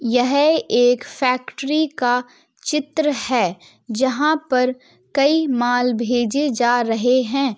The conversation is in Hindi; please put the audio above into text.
यह एक फैक्ट्री का चित्र है जहाँ पर कई माल भेजे जा रहे हैं।